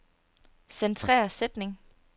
Centrer sætning.